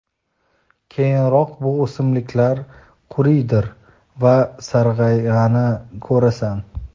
Keyinroq bu o‘simliklar quriydir va sarg‘ayganini ko‘rasan.